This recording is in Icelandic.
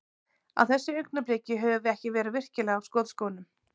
Á þessu augnabliki, höfum við ekki verið virkilega á skotskónum.